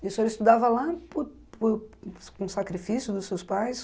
E o senhor estudava lá por por por com sacrifício dos seus pais?